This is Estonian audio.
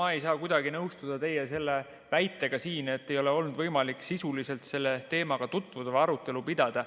No ma ei saa kuidagi nõustuda teie selle väitega, et ei ole olnud võimalik sisuliselt selle teemaga tutvuda või arutelu pidada.